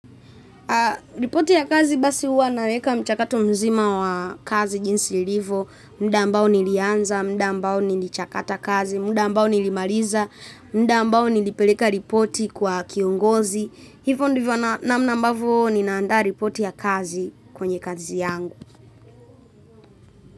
Ripoti ya kazi basi huwa naweka mchakato mzima wa kazi jinsi ilivo, muda ambao nilianza, muda ambao nilichakata kazi, muda ambao nilimaliza, muda ambao nilipeleka ripoti kwa kiongozi, hivyo ndivyo namna ambavyo ninaandaa ripoti ya kazi kwenye kazi yangu.